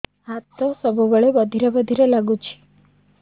ହାତ ସବୁବେଳେ ବଧିରା ବଧିରା ଲାଗୁଚି